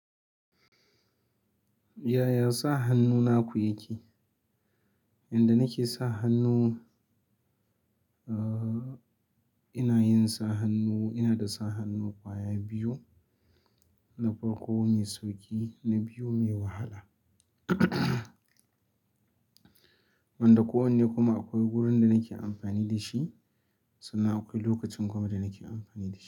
Yaya sa hannu naku yake? Yanda nake sa hannu, uh, ina yin sa hannu, ina da sa hannu ƙwaya biyu, na farko mai sauƙi na biyu mai wahala. Wanda kowanne kuma akwai wurin da nake amfani da shi sannan akwai lokacin kuma da nake amfani da shi.